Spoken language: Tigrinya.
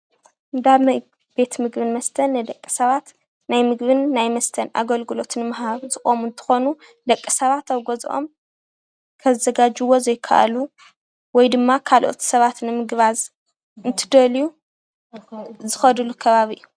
እንዳ ቤት ምግብን መስተን ንደቂስባት ናይ ምግቢ ናይ መስተ አገልግሎትን ንምሃብ ዝቆሙ እንትኮኑ ደቂ ሰባተ አብ ገዝኦም ከዘጋጅዉዎ ዘይካአሉ ወይ ድማ ካልኦት ስባት ንምግባዝ እንትደልዩ ዝከድሉ ከባቢ እዩ፡፡